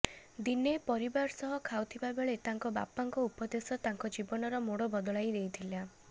ଦିନେ ପରିବାର ସହ ଖାଉଥିବା ବେଳେ ତାଙ୍କ ବାପାଙ୍କ ଉପଦେଶ ତାଙ୍କ ଜୀବନର ମୋଡ ବଦଳାଇ ଦେଇଥିଲା